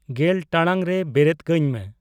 ᱜᱮᱞ ᱴᱟᱲᱟᱝ ᱨᱮ ᱵᱮᱨᱮᱫ ᱠᱟᱹᱧ ᱢᱮ